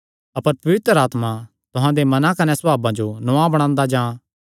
अपर पवित्र आत्मा तुहां दे मनां कने सभावे जो नौआं बणांदा जां